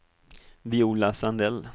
Viola Sandell